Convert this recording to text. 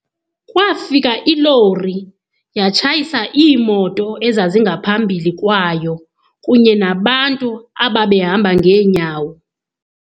Kwafika ilori yatshayisa iimoto ezazingaphambili kwayo kunye nabantu ababehamba ngeenyawo.